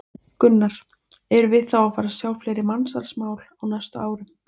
Gunnar: Erum við þá að fara að sjá fleiri mansalsmál á næstu árum?